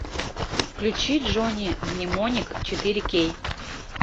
включи джонни мнемоник четыре кей